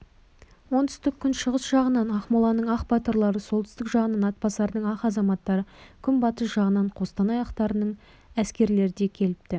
оңтүстік-күншығыс жағынан ақмоланың ақ батырлары солтүстік жағынан атбасардың ақ азаматтары күнбатыс жағынан қостанай ақтарының әскерлері де келіпті